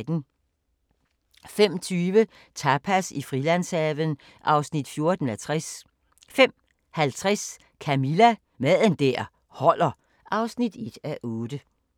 05:20: Tapas i Frilandshaven (14:60) 05:50: Camilla – Mad der holder (1:8)